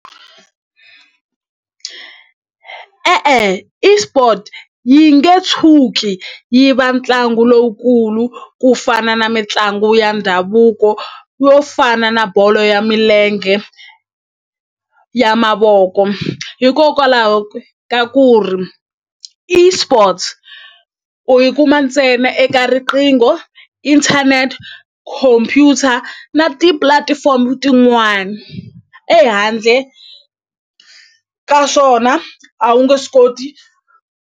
E-e eSport yi nge tshuki yi va ntlangu lowukulu ku fana na mitlangu ya ndhavuko yo fana na bolo ya milenge ya mavoko hikokwalaho ka ku ri eSports u yi kuma ntsena eka riqingho inthanete khompyuta na ti-platform tin'wani ehandle ka swona a wu nge swi koti.